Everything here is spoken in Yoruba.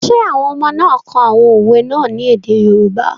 Ṣé àwọn ọmọ náà kọ àwọn òwe náà ní èdè yoòbá?